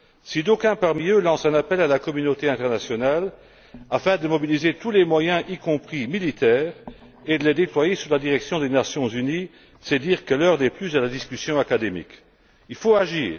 Si d'aucuns parmi eux lancent un appel à la communauté internationale afin de mobiliser tous les moyens, y compris militaires, et de les déployer sous la direction des Nations unies, c'est dire que l'heure n'est plus à la discussion académique. Il faut agir.